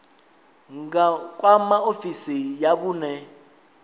nga kwama ofisi ya vhune